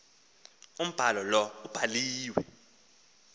umbhalo lowo ubhaliwe